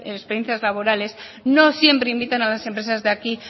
experiencias laborales no siempre invitan a las empresas de aquí